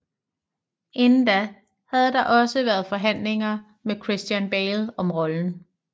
Inden da havde der også været forhandlinger med Christian Bale om rollen